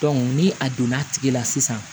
ni a donna tigi la sisan